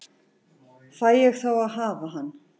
Fæ ég þá að hafa hann?